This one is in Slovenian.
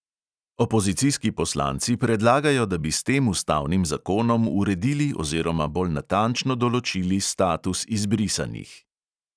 Opozicijski poslanci predlagajo, da bi s tem ustavnim zakonom uredili oziroma bolj natančno določili status izbrisanih.